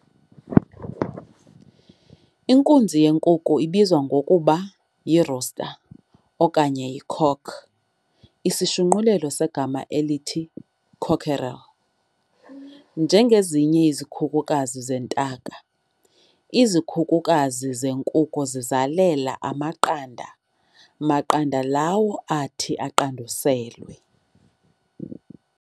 Inkunzi yenkukhu ibizwa ngokuba yi"rooster" okanye y"icock", isishunqulelo segama elithi cockerel. Njengezinye izikhukukazi zentaka, izikhukukazi zenkukhu zizalela amaqanda maqanda lawo athi aqanduselwe.